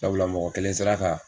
Sabula mɔgɔ kelen sera ka